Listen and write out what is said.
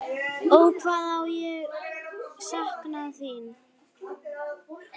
Ó, hvað ég sakna þín.